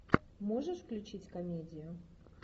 можешь включить комедию